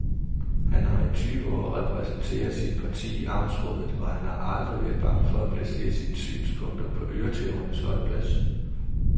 Han har i tyve år repræsenteret sit parti i amtsrådet, og han har aldrig været bange for at placere sine synspunkter på øretævernes holdeplads.